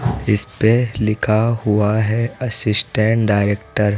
इसपे लिखा हुआ है असिस्टेंट डायरेक्टर --